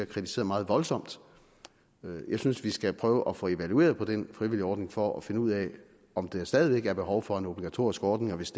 kritiseret meget voldsomt jeg synes vi skal prøve at få evalueret den frivilligordning for at finde ud af om der stadig er behov for en obligatorisk ordning og hvis